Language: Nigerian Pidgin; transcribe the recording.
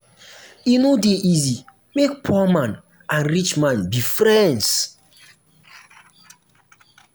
e no dey easy make poor man and rich man be friends.